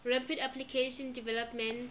rapid application development